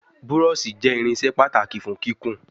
Búrọ́ọ̀ṣì jé irinṣẹ́ pàtàkì fún kíkún.